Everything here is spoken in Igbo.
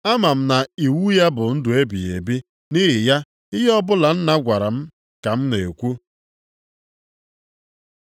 Ama m na iwu ya bụ ndụ ebighị ebi, nʼihi ya, ihe ọbụla Nna gwara m ka m na-ekwu.”